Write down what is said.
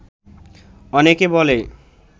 অনেকে বলে